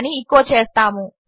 అని ఎచో చేస్తాము